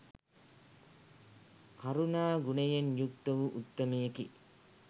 කරුණා ගුණයෙන් යුක්ත වූ උත්තමයෙකි.